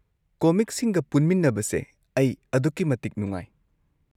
ꯀꯣꯃꯤꯛꯁꯤꯡꯒ ꯄꯨꯟꯃꯤꯟꯅꯕꯁꯦ ꯑꯩ ꯑꯗꯨꯛꯀꯤꯃꯇꯤꯛ ꯅꯨꯡꯉꯥꯏ꯫